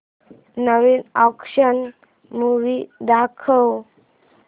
नवीन action movie दाखव